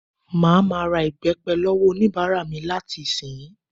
Màá ma ra ìbẹ́pẹ lọ́wọ́ oníbàárà mi láti ìsiǹyí